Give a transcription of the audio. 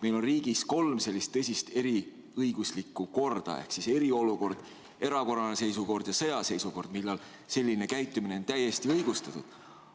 Meil on riigis kolm sellist tõsist erilist õiguslikku korda – eriolukord, erakorraline seisukord ja sõjaseisukord –, kui selline käitumine on täiesti õigustatud.